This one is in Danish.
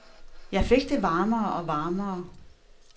Jeg fik det varmere og varmere.